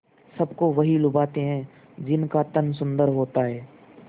सबको वही लुभाते हैं जिनका तन सुंदर होता है